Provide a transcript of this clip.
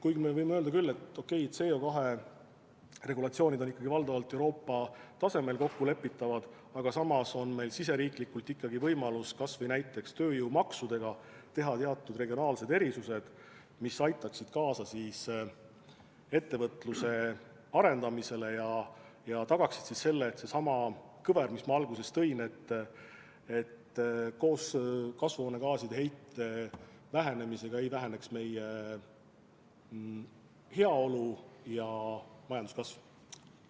Kuigi me võime öelda, et okei, CO2 regulatsioonid on valdavalt Euroopa tasemel kokkulepitavad, aga samas on meil oma riigis ikkagi õigus kas või näiteks tööjõumaksudega võimaldada teatud regionaalseid erisusi, mis aitaksid kaasa ettevõtluse arendamisele ja tagaksid selle, et koos kasvuhoonegaaside heite vähenemisega ei väheneks meie heaolu ja majanduskasv.